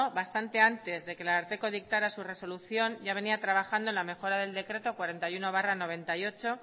bastante antes de que el ararteko dictara su resolución ya venía trabajando en la mejora del decreto cuarenta y uno barra mil novecientos noventa y ocho